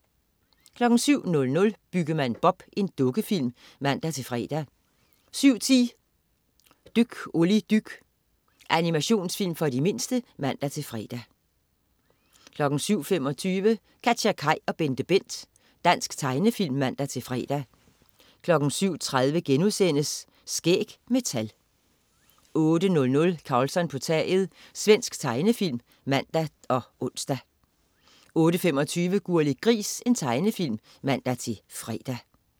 07.00 Byggemand Bob. Dukkefilm (man-fre) 07.10 Dyk Olli dyk. Animationsfilm for de mindste (man-fre) 07.25 KatjaKaj og BenteBent. Dansk tegnefilm (man-fre) 07.30 Skæg med tal* 08.00 Karlsson på taget. Svensk tegnefilm (man-ons) 08.25 Gurli Gris. Tegnefilm (man-fre)